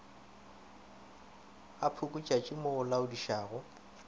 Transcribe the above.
ga pukutšatši mo o laodišago